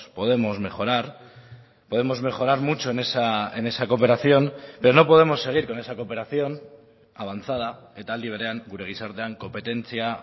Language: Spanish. podemos mejorar podemos mejorar mucho en esa cooperación pero no podemos seguir con esa cooperación avanzada eta aldi berean gure gizartean konpetentzia